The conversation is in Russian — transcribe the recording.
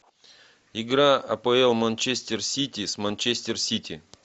игра апл манчестер сити с манчестер сити